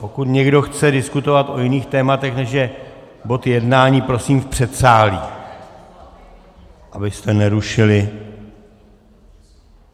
Pokud někdo chce diskutovat o jiných tématech, než je bod jednání, prosím v předsálí, abyste nerušili.